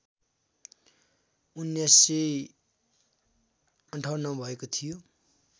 १९५८ मा भएको थियो